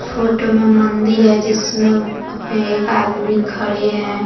Photo में मंदिर हैं जिसमें एक आदमी खड़े हैं।